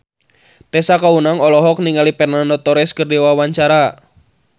Tessa Kaunang olohok ningali Fernando Torres keur diwawancara